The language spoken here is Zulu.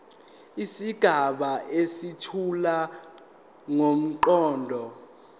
izigaba ezethula ngomqondo